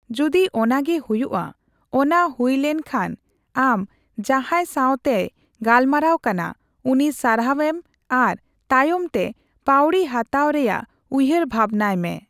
ᱡᱚᱫᱤ ᱚᱱᱟᱜᱮ ᱦᱩᱭᱩᱜᱼᱟ, ᱚᱱᱟ ᱦᱩᱭᱞᱮᱱ ᱠᱷᱟᱱ ᱟᱢ ᱡᱟᱦᱟᱸᱭ ᱥᱟᱣᱛᱮᱭ ᱜᱟᱞᱢᱟᱨᱟᱣ ᱠᱟᱱᱟ, ᱩᱱᱤ ᱥᱟᱨᱦᱟᱣ ᱮᱢ ᱟᱨ ᱛᱟᱭᱚᱢᱛᱮ ᱯᱟᱣᱲᱤᱦᱟᱛᱟᱣ ᱨᱮᱭᱟᱜ ᱩᱭᱦᱟᱹᱨᱵᱷᱟᱵᱱᱟᱭ ᱢᱮ᱾